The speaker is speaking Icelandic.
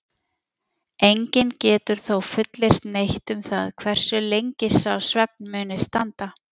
Enginn getur þó fullyrt neitt um það hversu lengi sá svefn muni standa.